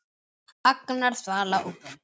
Agnar, Svala og börn.